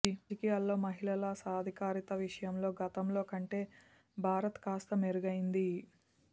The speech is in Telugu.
రాజకీయాలలో మహిళల సాధికారత విషయంలో గతంలో కంటే భారత్ కాస్త మెరుగైంది